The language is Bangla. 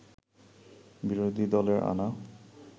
বিরোধী দলের আনা